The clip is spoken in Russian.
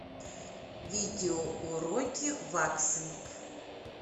видео уроки ваксинг